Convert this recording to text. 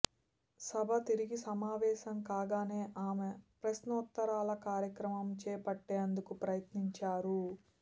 సభ తిరిగి సమావేశం కాగానే ఆమె ప్రశ్నోత్తరాల కార్యక్రమం చేపట్టేందుకు ప్రయత్నించారు